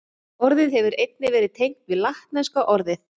Orðið hefur einnig verið tengt við latneska orðið